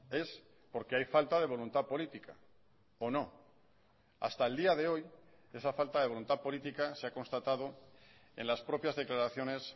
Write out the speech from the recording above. es porque hay falta de voluntad política o no hasta el día de hoy esa falta de voluntad política se ha constatado en las propias declaraciones